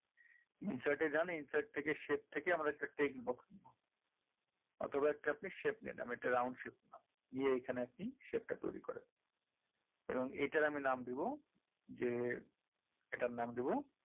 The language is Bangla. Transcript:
insert এ যান insert থেকে shape থেকে আমরা একটা text box নেবো অথবা আপনি একটা shape নিন আমি একটা round shape নিলাম নিয়ে এখানে আর কি shape টা তৈরি করেন এবং এটার আমি নাম দেবো যে এটার নাম দেবো